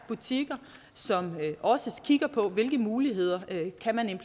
butikker som også kigger på hvilke muligheder